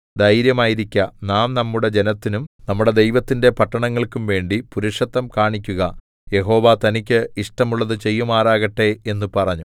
ധൈര്യമായിരിക്ക നാം നമ്മുടെ ജനത്തിനും നമ്മുടെ ദൈവത്തിന്റെ പട്ടണങ്ങൾക്കും വേണ്ടി പുരുഷത്വം കാണിക്കുക യഹോവ തനിക്കു ഇഷ്ടമുള്ളത് ചെയ്യുമാറാകട്ടെ എന്നു പറഞ്ഞു